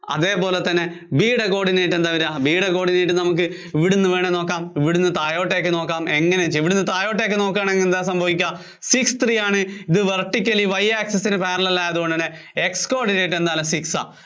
അതേപോലെതന്നെ B യുടെ coordinate എന്താ വര്വാ? B യുടെ coordinate ഇവിടുന്ന് വേണേല്‍ നോക്കാം. ഇവിടുന്ന് താഴോട്ടേക്ക് നോക്കാം, എങ്ങിനെ ഇവിടുന്ന് താഴോട്ടേക്ക് നോക്കിയാല്‍ എന്താ സംഭവിക്കുക? six three ആണ് ഇത് vertically Y access ന് parallel ആയതുകൊണ്ട്തന്നെ X coordinate എന്താണ് six ആ